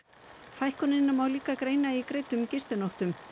fækkunina má líka greina í greiddum gistinóttum